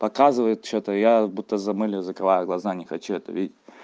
показывает что-то я будто замылил закрываю глаза не хочу это видеть